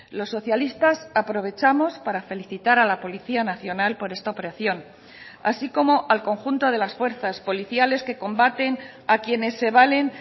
los socialistas aprovechamos para felicitar a la policía nacional por esta operación así como al conjunto de las fuerzas policiales que combaten a quienes se valen